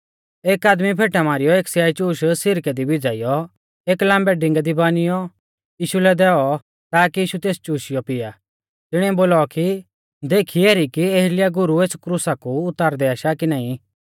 एक आदमी फेटा मारीयौ एक स्याइचूश सिरकै दी भिज़ाइयौ एक लाम्बै डिंगै दी बानियौ यीशु लै दैऔ ताकी यीशु तेस चुशियौ पिया तिणीऐ बोलौ कि देखी एरी कि एलियाह गुरु एस क्रुसा कू उतारदै आशा कि नाईं